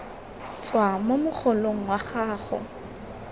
tswa mo mogolong wa gago